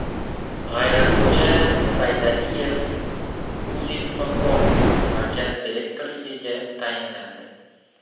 G‘ayratxo‘ja Saydaliyev Uzinfocom markazi direktorligiga tayinlandi.